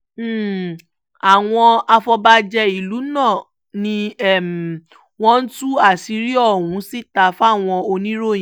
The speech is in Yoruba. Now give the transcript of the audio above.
um àwọn afọbajẹ ìlú náà ni um wọ́n tú àṣírí ọ̀hún síta fáwọn oníròyìn